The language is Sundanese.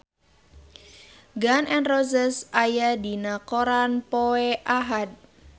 Gun N Roses aya dina koran poe Ahad